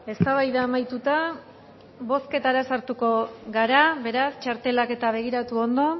eztabaida amaituta bozketara sartuko gara beraz txartelak eta begiratu ondo